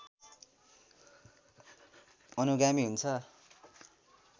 अनुगामी हुन्छ